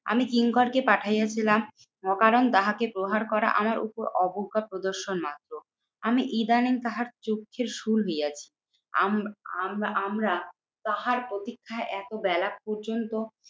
আমি কিঙ্কর কে পাঠাইয়া ছিলাম অকারণ তাহাকে প্রহার করা আমার উপর অবজ্ঞা প্রদর্শন মাত্র। আমি ইদানিং তাহার চক্ষুশূল হইয়াছি আম আমরা আমরা তাহার প্রতীক্ষায় এত বেলা পর্যন্ত